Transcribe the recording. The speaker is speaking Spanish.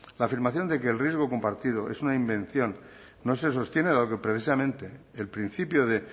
la afirmación de que el riesgo compartido es una invención no se sostiene dado que precisamente el principio de